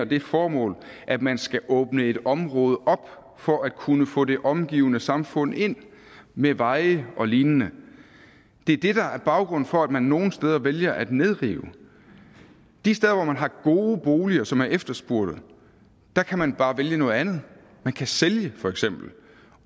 det formål at man skal åbne et område op for at kunne få det omgivende samfund ind med veje og lignende det er det der er baggrunden for at man nogle steder vælger at nedrive de steder hvor man har gode boliger som er efterspurgte kan man bare vælge noget andet man kan sælge for eksempel